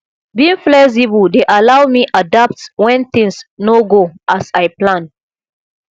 being flexible dey allow me adapt when things no go as i plan